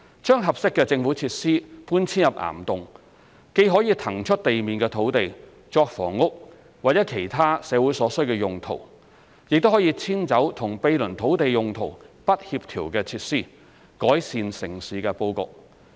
把合適的政府設施搬遷入岩洞，既可以騰出地面土地作房屋或其他社會所需的用途，也可以遷走與毗鄰土地用途不協調的設施，改善城市布局。